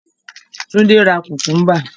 Túndé ra kùkúńbà.